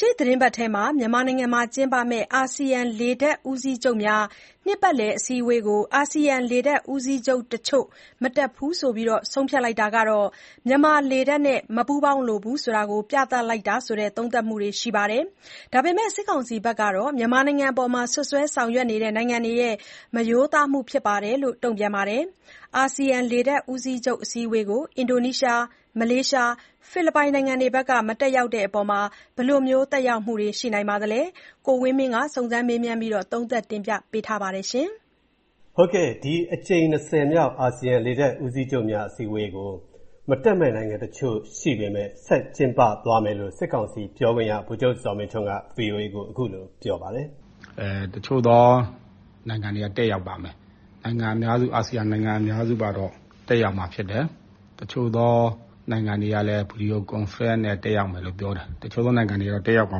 ရှေ့သီတင်းပတ် မြန်မာနိုင်ငံမှာကျင်းပမယ့် အာဆီယံလေတပ်ဦးစီးချုပ်များ နှစ်ပတ်လည်အစည်းအဝေးကို အာဆီယံလေတပ်ဦးစီးချုပ်တချို့ မတက်ဘူးလို့ ဆုံးဖြတ်တာဟာ မြန်မာလေတပ်နဲ့ မပူးပေါင်းလိုဘူးဆိုတာ ပြသလိုက်တာလို့ သုံးသပ်မှုတွေရှိပေမဲ့ စစ်ကောင်စီကတော့ မြန်မာနိုင်ငံအပေါ် စွပ်စွဲဆောင်ရွက်နေတဲ့ နိုင်ငံတွေရဲ့ မရိုးသားမှုဖြစ်တယ်လို့ တုံပြန့်ပါတယ်။ အာဆီယံ လေတပ်ဦးစီချုပ် အစည်းအဝေးကို အင်ဒိုနီးရှား၊ မလေးရှား၊ ဖိလစ်ပိုင်နိုင်ငံတွေဘက်က မတက်တဲ့အတွက် ဘယ်လို သက်ရောက်မှုတွေ ရှိနိုင်ပါသလဲ။ ကိုဝင်းမင်း သုံးသပ်တင်ပြထားပါတယ်။ ဒီအကြိမ် မြောက် အာဆီယံလေတပ်ဦးစီးချုပ်များ အည်းအဝေးကို မတက်မဲ့နိုင်ငံတချို့ ရှိပေမဲ့ ဆက်ကျင်းပသွားမယ်လို့ စစ်ကောင်စီပြောခွင့်ရ ဗိုလ်ချုပ်ဇော်မင်းထွန်းက ဗွီအိုအေကို အခုလို ပြောလိုက်ပါတယ်။ “ တချို့သောနိုင်ငံတွေက တက်ရောက်ပါမယ်၊ နိုင်ငံအများစု အာဆီယံနိုင်ငံအများစုကတော့ တက်ရောက်မှာဖြစ်တယ်၊ တချို့သောနိုင်ငံတွေကလည်း ဗီဒီယိုကွန်ဖရင့်နဲ့ တက်ရောက်မယ်လို့ ပြောတယ်။ တချို.သောနိုင်ငံတွေကတော့ တက်ရောက်မှာ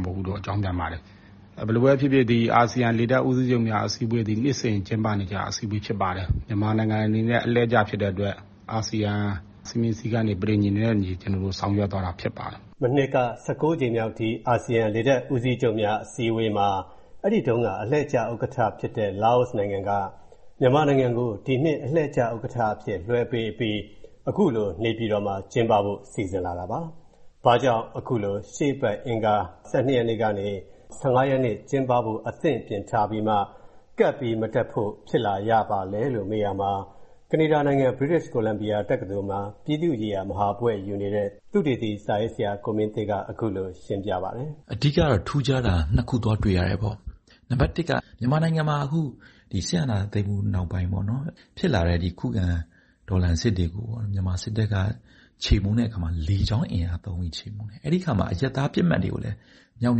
မဟုတ်ဘူးလို့ အကြောင်းပြန်ပါတယ်။ ဘယ်လိုပဲဖြစ်ဖြစ် ဒီအာဆီယံ လေတပ်ဦးစီးချုပ်များအစည်းအဝေးသည် နှစ်စဉ်ကျင်းပနေကျ အစည်းအဝေးဖြစ်ပါတယ်။ မြန်မာနိုင်ငံအနေနဲ့ အလှည့်ကျ ဖြစ်တဲ့အတွက် အာဆီယံ စည်းမျဉ်းစည်းကမ်းတွေ၊ ပဋိဉာဉ်နဲ့အညီ ကျွန်တော်တို့ ဆောင်ရွက်သွားတာဖြစ်ပါတယ်။” မနှစ်က ကြိမ်မြောက် ဒီအာဆီယံလေတပ်ဦးစီးချုပ်များ အစည်းအဝေးမှာ အဲ့ဒီတုံးက အလှည့်ကျ ဥက္ကဋ္ဌဖြစ်ခဲ့တဲ့ လာအိုနိုင်ငံက မြန်မာနိုင်ငံကို ဒီနှစ် အလှည့်ကျ ဥက္ကဋ္ဌအဖြစ် လွှဲပေးအပြီး အခုလို နေပြည်တော်မှာ ကျင်းပဖို့ စီစဉ်လာတာပါ။ ဘာကြောင့် အခုလို ရှေ့အပတ် အင်္ဂါ ၁၂ ရက်နေကနေ ၁၅ ရက်နေ့ ကျင်းပဖို့ အသင့်ပြင်ထားပြီးမှ ကပ်ပြီး မတက်ဖို့ ဖြစ်လာရပါလဲလို့ မေးရာမှာ၊ ကနေဒါနိုင်ငံ British Columbia တက္ကသိုလ်မှာ ပြည်သူ့ရေးရာမူဝါဒ မဟာဘွဲ့ယူနေတဲ့ သုတေသီ စာရေးဆရာ ကိုမင်းသေ့က အခုလို ရှင်းပြပါတယ်။ “အဓိက ကတော့ ထူးခြားတာ ခုသွားတွေ့ရတယ်။ နံပါတ် က မြန်မာနိုင်ငံမှာ အခု စစ်အာဏာသိမ်းမှုနောက်ပိုင်း ဖြစ်လာတဲ့ ခုခံတော်လှန်စစ်တွေကိုပေါ့နော် မြန်မာစစ်တပ်က ချေမှုန်းတဲ့အခါမှာ လေကြောင်းအင်အားသုံးပြီး ချေမှုန်းတယ်။ အဲ့ဒိအခါမှာ အရပ်သားပစ်မှတ်တွေကိုလည်း မြောက်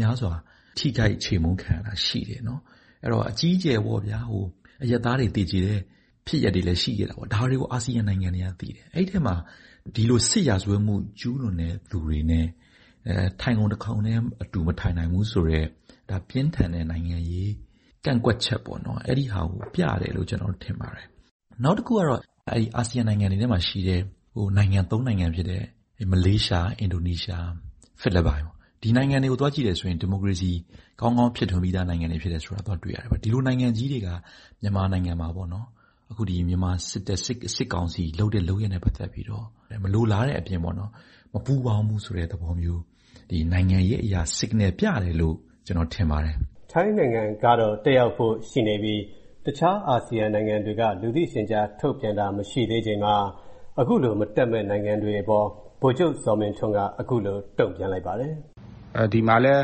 မြားစွာ ထိခိုက်ချေမှုန်းခံရတာရှိတယ်။ အဲ့ဒိတော့ အကြီးအကျယ်ပေါ.ဗျာ အရပ်သားတွေ သေကျေတဲ့ဖြစ်ရပ်တွေလည်း ရှိခဲ့တာပေါ့။ ဒါတွေကို အာဆီယံနိုင်ငံတွေက သိတယ်။ အဲ့ဒိအထဲမှာ ဒီလို စစ်ရာဇဝတ်မှုကျုးလွန်တဲ့ သူတွေနဲ့ ထိုင်ခုံ တခုံထဲ အတူမထိုင်နိုင်ဘူးဆိုတဲ့ ပြင်းထန်တဲ့ နိုင်ငံရေး ကန့်ကွက်ချက်ပေါ့နော် အဲဒိဟာကို ပြတယ်လို့ ကျွန်တော် ထင်ပါတယ်။ နောက်တစ်ခုကတော့ အဲ့ဒိ အာဆီယံနိုင်ငံတွေထဲမှာရှိတဲ့ နိုင်ငံ နိုင်ငံဖြစ်တဲ့ မလေးရှား၊ အင်ဒိုနီးရှားနဲ့ ဖီလစ်ပိုင်ပေါ့ ဒီနိုင်ငံတွေကို သွားကြည့်တယ်ဆိုရင် ဒီမိုကရေစီ ကောင်းကောင်း ဖြစ်ထွန်းပြီးသားနိုင်ငံတွေဖြစ်တယ်ဆိုတာ သွားတွေ့ရတယ်ပေါ့။ ဒီလိုနိုင်ငံကြီးတွေက မြန်မာနိုင်ငံမှာပေါ့နော် အခု ဒီမြန်မာစစ်တပ် စစ်ကောင်စီလုပ်တဲ့ လုပ်ရပ်နဲ့ပတ်သက်ပြီးတော့ မလိုလားတဲ့ အပြင်ပေါ့နော်၊ မပူးပေါင်းဘူးဆိုတဲ့ သဘောမျိုး နိုင်ငံရေးအရ Signal ပြတယ်လို့ ကျွန်တော် ထင်ပါတယ်။” ထိုင်းနိုင်ငံကတော့ တက်ရောက်ဖို့ရှိနေပြီး တခြား အာဆီယံနိုင်ငံတွေက လူသိရှင်ကြားထုတ်ပြန်တာ မရှိသေးချိန်မှာ၊ အခုလို မတက်မဲ့ နိုင်ငံတွေအပေါ် ဗိုလ်ချုပ်ဇော်မင်းထွန်းက အခုလို တုံ့ပြန်လိုက်ပါတယ်။ “ဒီမှာလည်း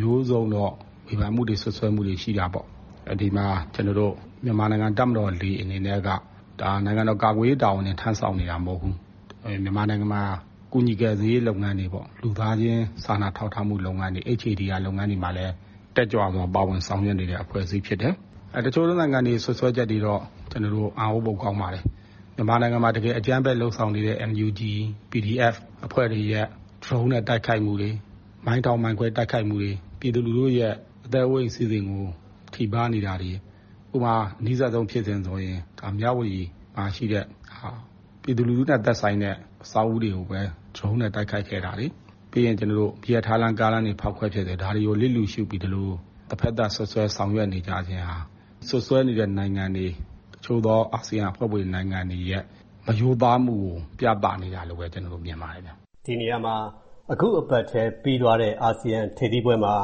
မျိုးစုံတော့ ဝေဖန်မှုတွေ စွပ်စွဲမှုတွေရှိတာပေါ့။ ဒီနေရာမှာ မြန်မာနိုင်ငံ တပ်မတော်လေ အနေနဲ့က နိုင်ငံတော် ကာကွယ်ရေးတာဝန်တင် ထမ်းဆောင်နေတာမဟုတ်ဘူး။ မြန်မာနိုင်ငံမှာ ကူညီကယ်ဆယ်ရေးလုပ်ငန်းတွေပေါ့၊ လူသားချင်း စာနာထောက်ထားမှုလုပ်ငန်းတွေ HADR (Humanitarian Assistance Disaster Relief) လုပ်ငန်းတွေမှာလည်း တက်ကြွစွာ ပါဝင်ဆောင်ရွက်နေတဲ့ အဖွဲ့အစည်းဖြစ်တယ်။ တချို့သောနိုင်ငံတွေ စွပ်စွဲချက်တွေကတော့ အံဩဖို့ ကောင်းပါတယ်။ မြန်မာနိုင်ငံမှာ တကယ် အကြမ်းဖက်လုပ်ဆောင်နေတဲ့ NUG ၊ PDF အဖွဲ့တွေရဲ့ ဒရုန်းနဲ့ တိုက်ခိုက်မှုတွေ မိုင်းထောင်မိုင်းခွဲတိုက်ခိုက်မှုတွေ၊ ပြည်သူလူထုရဲ့ အသက်အိုးအိမ်စည်းစိမ်ကို ထိပါးနေတာတွေ၊ ဥပမာ အနီးစပ်ဆုံး ဖြစ်စဉ်ဆိုရင် မြဝတီမှာရှိတဲ့ဟာ ပြည်သူလူထုနဲ့သက်ဆိုင်တဲ့ အဆောက်အဦးတွေကိုပဲ ဒရုန်းနဲ့ တိုက်ခိုက်ခဲ့တာတွေ၊ ပြီးရင် ကျွန်တော်တို့ မီးရထားလမ်း၊ ကားလမ်းတွေဖောက်ခွဲပစ်တယ်။ ဒါတွေကို လျစ်လျုရှုပြီး ဒီလို တဘက်သတ် စွတ်စွဲ ဆောင်ရွက်နေကြခြင်းဟာ၊ စွပ်စွဲနေသောနိုင်ငံတွေ တချို့သော အာဆီယံအဖွဲ့ဝင်နိုင်ငံတွေရဲ့ မရိုးသားမှုကို ပြသနေတာလို့ပဲ ကျွန်တော်တို့ မြင်ပါတယ် ခင်ဗျ။” ဒီနေရာမှာ အခုအပတ်ထဲ ပြီးသွားတဲ့ အာဆီယံ ထိပ်သီးပွဲမှာ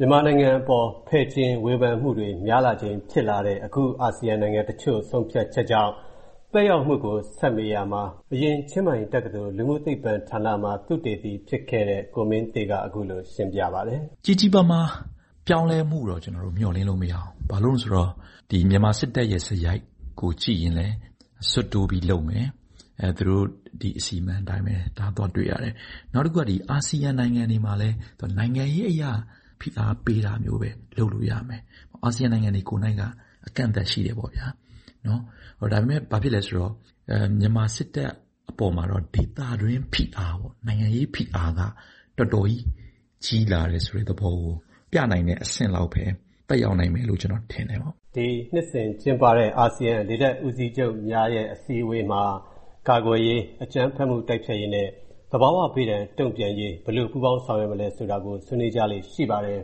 မြန်မာနိုင်ငံအပေါ် ဖယ်ကျဉ်ဝေဖန်မှုတွေ များလာချိန် ဖြစ်လာတဲ့ အခု အာဆီယံနိုင်ငံတချို့ ဆုံးဖြတ်ချက်ကြောင့် သက်ရောက်လာနိုင်မှုကို ဆက်မေးရာမှာ အရင်ချင်းမိုင်တက္ကသိုလ် လူမှုသိပ္ပံဌာနမှာ သုတေသီဖြစ်ခဲ့တဲ့ ကိုမင်းသေ့က အခုလို ရှင်းပြပါတယ်။ “ ကြီးကြီးမားမား ပြောင်းလဲမှုကိုတော့ ကျွန်တော်တို့ မျှော်လင့်လို့မရဘူး။ ဘာလို့လဲဆိုတော့ ဒီ မြန်မာစစ်တပ်ရဲ့ စရိုက်ကိုကြည့်ရင်လည်း စွတ်တိုးပြီးလုပ်မယ်။ သူတို့ ဒီအစီအမံအတိုင်းပဲ သွားတွေ့ရတယ်။ နောက်တစ်ခုက ဒီ အာဆီယံနိုင်ငံတွေမှာလည်း နိုင်ငံရေးအရ ဖိအားပေးတာမျိုးပဲ လုပ်လို့ရမယ်။ အာဆီယံနိုင်ငံတွေ ကိုယ်နှိုက်က အကန့်အသတ်ရှိတယ်ပေါ့ဗျာ။ ဒါပေမဲ့ ဘာဖြစ်လဲဆိုတော့ မြန်မာစစ်တပ်အပေါ်မှာတော့ ဒေသတွင်းဖိအားပေါ့ နိုင်ငံရေးဖိအားက တော်တော်ကြီး ကြီးလာတယ်ဆိုတဲ့သဘောကို ပြနိုင်တဲ့ အဆင့်လောက်ပဲ သက်ရောက်နိုင်မယ်လို့ ကျွန်တော်ထင်တယ်ပေါ့။” ဒီနှစ်စဉ်ကျင်းပတဲ့ အာဆီယံလေတပ်ဦးစီးချုပ်များရဲ အစည်းအဝေးမှာ ကာကွယ်ရေး၊ အကြမ်းဖက်မှုတိုက်ဖျက်ရေးနဲ့ သဘာဝဘေးဒဏ်တုံ့ပြန်ရေး ဘယ်လို ပူးပေါင်းဆောင်ရွက်မလဲဆိုတာကို ဆွေးနွေးကြလေ့ရှိပါတယ်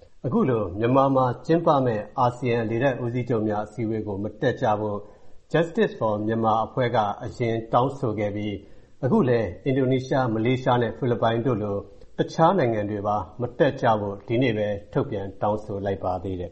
။ အခုလို မြန်မာမှာကျင်းပမဲ့ အာဆီယံလေတပ်ဦးစီးချုပ်များအစည်းအဝေးကို မတက်ကြဖို့ Justice For Myanmar အဖွဲ့က အရင်တောင်းဆိုခဲ့ပြီး၊ အခုလည်း အင်ဒိုနီးရှား၊ မလေးရှားနဲ့ ဖီလစ်ပိုင်တို့လို တခြားနိုင်ငံတွေပါ မတက်ကြဖို့ ဒီနေ့ပဲ ထုတ်ပြန်တောင်းဆိုလိုက်ပါသေးတယ်